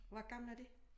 Hvor gamle er de?